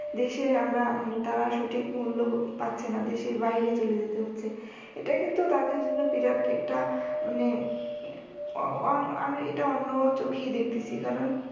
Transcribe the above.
দেশের আমরা মানে তারা সঠিক মুল্য পাচ্ছে না দেশের বাইরে চলে যেতে হচ্ছে। এটা কিন্তু তাদের জন্য বিরাট একটা মানে মানে আমি এটা অন্য চোখে দেখতেছি কারণ